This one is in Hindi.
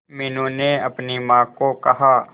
मीनू ने अपनी मां को कहा